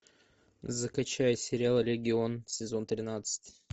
закачай сериал легион сезон тринадцать